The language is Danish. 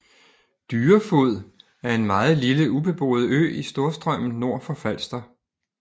Dyrefod er en meget lille ubeboet ø i Storstrømmen nord for Falster